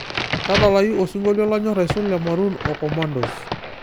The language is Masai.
tadalayu osingolio lanyor aisul le maruun o kommandos